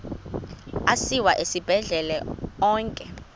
asiwa esibhedlele onke